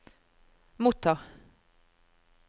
motta